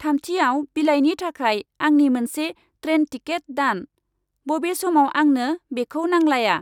थामथियाव बिलाइनि थाखाय आंनि मोनसे ट्रेन टिकेट दान, बबे समाव आंनो बेखौ नांलाया